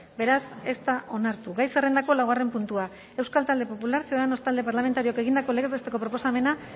beraz ez da onartu gai zerrendako laugarren puntua euskal talde popularra ciudadanos talde parlamentarioak egindako legez besteko proposamena